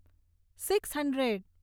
six hundred